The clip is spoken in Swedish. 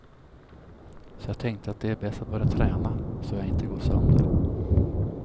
Så jag tänkte att det är bäst att börja träna, så jag inte går sönder.